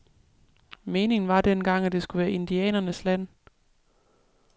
Meningen var dengang, at det skulle være indianernes land.